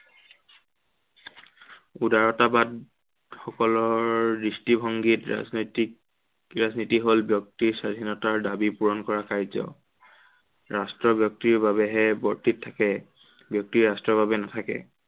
উদাৰতাবাদ সকলৰ দৃষ্টিভংগীত ৰাজনৈতিক ৰাজনীতি হল ব্য়ক্তিৰ স্বাধীনতাৰ দাবী পূৰণ কৰা কাৰ্য। ৰাষ্ট্ৰৰ ব্য়ক্তিৰ বাবেহে বৰ্তি থাকে। ব্য়ক্তি ৰাষ্ট্ৰৰ বাবে নাথাকে।